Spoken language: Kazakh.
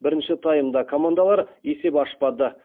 бірінші таймда командалар есеп ашпады